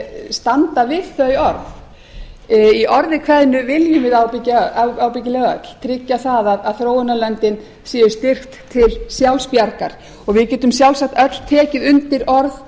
standa við þau orð í orði kveðnu viljum við ábyggilega öll tryggja að þróunarlöndin séu styrkt til sjálfsbjargar og við getum sjálfsagt öll tekið undir orð